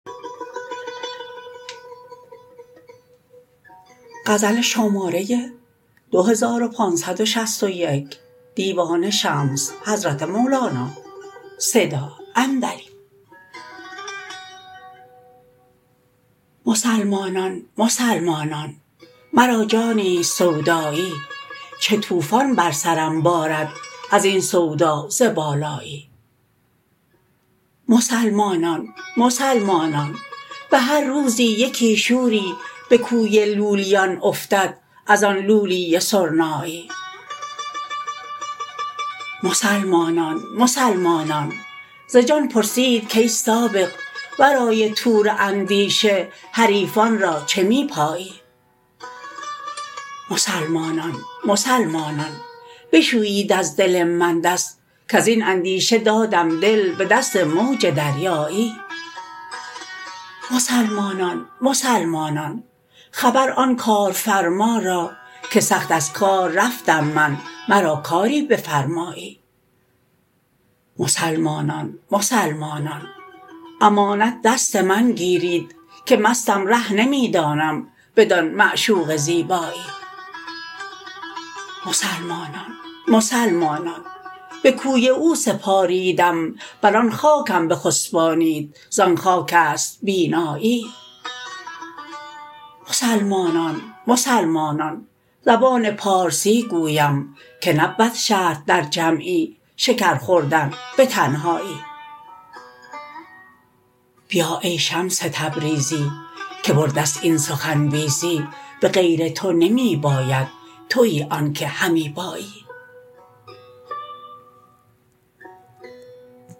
مسلمانان مسلمانان مرا جانی است سودایی چو طوفان بر سرم بارد از این سودا ز بالایی مسلمانان مسلمانان به هر روزی یکی شوری به کوی لولیان افتد از آن لولی سرنایی مسلمانان مسلمانان ز جان پرسید کای سابق ورای طور اندیشه حریفان را چه می پایی مسلمانان مسلمانان بشویید از دل من دست کز این اندیشه دادم دل به دست موج دریایی مسلمانان مسلمانان خبر آن کارفرما را که سخت از کار رفتم من مرا کاری بفرمایی مسلمانان مسلمانان امانت دست من گیرید که مستم ره نمی دانم بدان معشوق زیبایی مسلمانان مسلمانان به کوی او سپاریدم بر آن خاکم بخسپانید زان خاک است بینایی مسلمانان مسلمانان زبان پارسی گویم که نبود شرط در جمعی شکر خوردن به تنهایی بیا ای شمس تبریزی که بر دست این سخن بیزی به غیر تو نمی باید توی آنک همی بایی